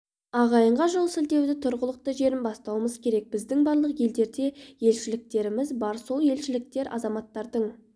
ағайынға жол сілтеуді тұрғылықты жерінен бастауымыз керек біздің барлық елдерде елшіліктеріміз бар сол елшіліктер азаматтардың